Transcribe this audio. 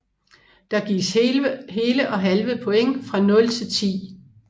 Der gives hele og halve point fra 0 til 10